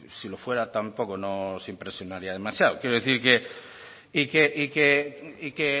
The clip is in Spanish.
si lo fuera tampoco nos impresionaría demasiado quiere decir que y que